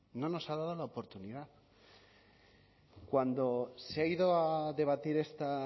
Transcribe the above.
no nos ha dado la oportunidad cuando se ha ido a debatir esta